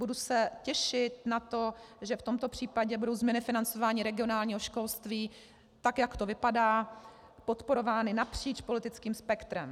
Budu se těšit na to, že v tomto případě budou změny financování regionálního školství, tak jak to vypadá, podporovány napříč politickým spektrem.